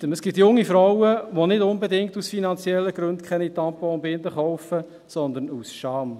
Es gibt junge Frauen, die nicht unbedingt aus finanziellen Gründen keine Tampons und Binden kaufen, sondern aus Scham.